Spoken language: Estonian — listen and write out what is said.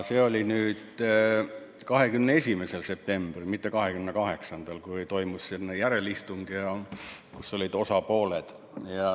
See oli 21. septembril, mitte 28-ndal, kui toimus järelistung, kus olid kohal osapooled.